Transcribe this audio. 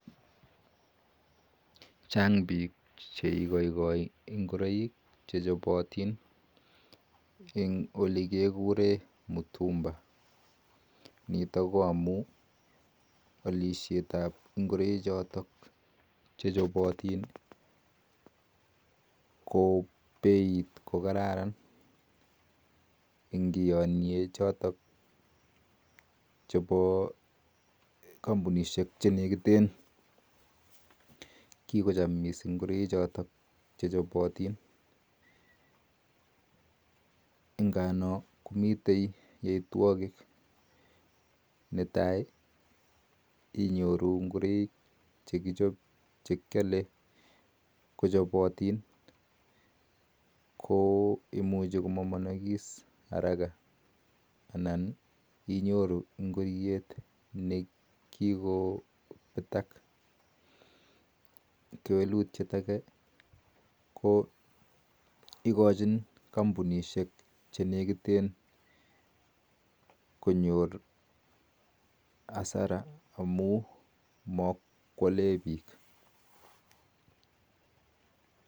Chaang piik cheigaigaii ngoroiik chechopatin chotok kekuree mitimbaeek amun peiit nwaa ko kararan kikocham missing piik netaii inyoruu ngororiik chekyaleee komuchii komamaniis haraka kewalutyeet agee kokachin kampunisheek chenekiten konyor hasara amun makwaleee piik.